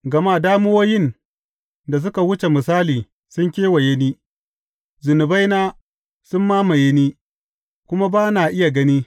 Gama damuwoyin da suka wuce misali sun kewaye ni; zunubaina sun mamaye ni, kuma ba na iya gani.